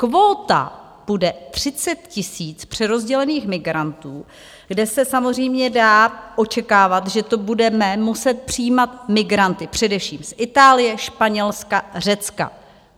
Kvóta bude 30 000 přerozdělených migrantů, kde se samozřejmě dá očekávat, že tu budeme muset přijímat migranty především z Itálie, Španělska, Řecka.